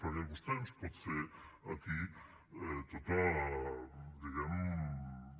perquè vostè ens pot fer aquí tota diguem ne